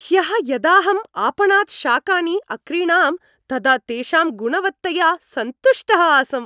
ह्यः यदाहम् आपणात् शाकानि अक्रीणां तदा तेषां गुणवत्तया सन्तुष्टः आसम्।